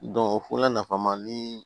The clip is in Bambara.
o fɔra nafa ma ni